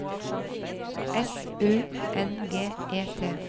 S U N G E T